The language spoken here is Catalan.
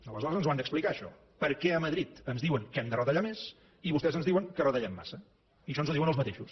aleshores ens ho han d’explicar això per què a madrid ens diuen que hem de retallar més i vostès ens diuen que retallem massa i això ens ho diuen els mateixos